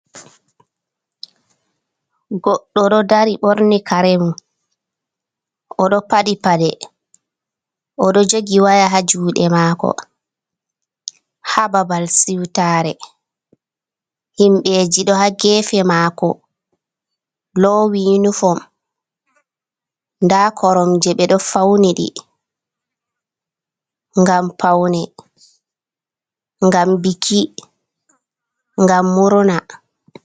Goɗɗo ɗo dari ɓorni karemu o ɗo paɗi paɗe, o ɗo jogi waya ha juɗe mako ha babal siwtare, himbeji ɗo ha gefe mako lowi uniform nda koromje ɓeɗo fauniɗi ngam paune, ngam biki, ngam murna.